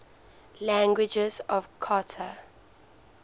languages of qatar